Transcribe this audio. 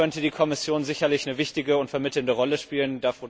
Da könnte die Kommission sicherlich eine wichtige und vermittelnde Rolle spielen.